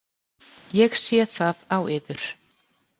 Ég sé það á yður.